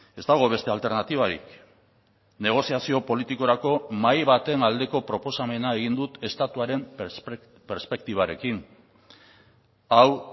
ez dago beste alternatibarik negoziazio politikorako mahai baten aldeko proposamena egin dut estatuaren perspektibarekin hau